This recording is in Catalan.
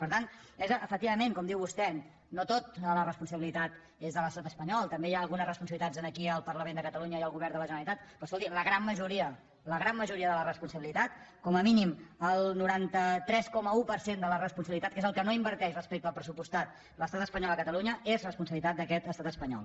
per tant és efectivament com diu vostè no tota la responsabilitat és de l’estat espanyol també hi ha algunes responsabilitats aquí al parlament de catalunya i al govern de la generalitat però escolti la gran majoria la gran majoria de la responsabilitat com a mínim el noranta tres coma un per cent de la responsabilitat que és el que no inverteix respecte del pressupostat l’estat espanyol a catalunya és responsabilitat d’aquest estat espanyol